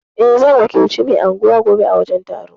Eh, zan wakilci mai anguwa gobe a wajen taron.